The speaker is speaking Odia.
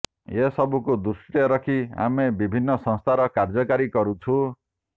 ଏସବୁକୁ ଦୃଷ୍ଟିରେ ରଖି ଆମେ ବିଭିନ୍ନ ସଂସ୍କାର କାର୍ଯ୍ୟକାରୀ କରିଛୁ